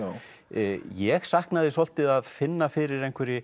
ég sakna þess svolítið að finna fyrir einhverri